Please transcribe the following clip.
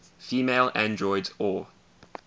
female androids or